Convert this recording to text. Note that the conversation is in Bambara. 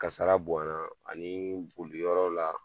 Kasara bonya la, ani boliyɔrɔ la